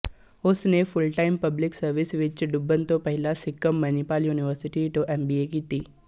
ਉਸ ਨੇ full time public service ਵਿੱਚ ਡੁੱਬਣ ਤੋਂ ਪਹਿਲਾਂ ਸਿੱਕਮ ਮਨੀਪਾਲ ਯੂਨੀਵਰਸਿਟੀ ਤੋਂ ਐਮਬੀਏ ਕੀਤੀ